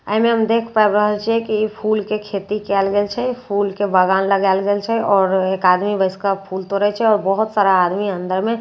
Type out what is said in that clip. एहि मे हम देख पाबि रहल छिय की ई फूल के खेती कएल गेल छै फूल के बागान लागाल गैल छै आओर एक आदमी बैस के फूल तोड़ए छै आओर बहुत सारा आदमी अंदर मे आओर--